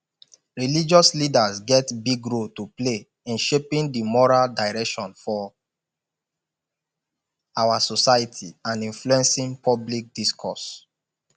religious leaders get big role to play in shaping di moral direction for our society and influencing public discourse